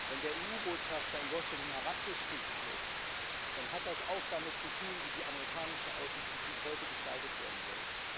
Wenn der EU Botschafter in Washington herabgestuft wird, dann hat das auch damit zu tun, wie die amerikanische Außenpolitik heute gestaltet werden soll.